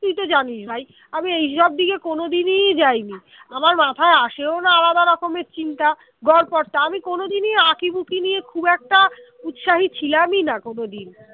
তুই তো জানিস ভাই আমি এইসব দিকে কোনদিনই যায়নি আমার মাথায় আসেও না আলাদা রকমের চিন্তা গড়পড়তা আমি কোনদিনই আঁকিবুকি নিয়ে খুব একটা উৎসাহী ছিলামই না কোনদিন